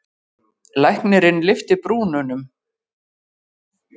Læknirinn lyfti brúnum.